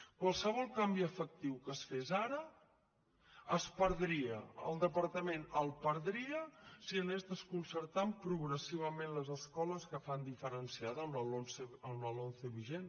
qualsevol canvi efectiu que es fes ara es perdria el departament el perdria si anés desconcertant progressivament les escoles que fan diferenciada amb la lomce vigent